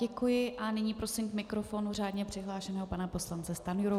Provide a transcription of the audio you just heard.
Děkuji a nyní prosím k mikrofonu řádně přihlášeného pana poslance Stanjuru.